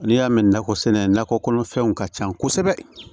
N'i y'a mɛn nakɔ sɛnɛ nakɔ kɔnɔfɛnw ka ca kosɛbɛ